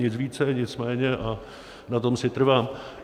Nic více, nic méně a na tom si trvám.